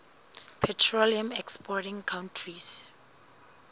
petroleum exporting countries